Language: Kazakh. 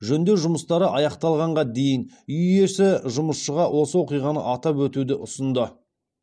жөндеу жұмыстары аяқталғанға дейін үй иесі жұмысшыға осы оқиғаны атап өтуді ұсынды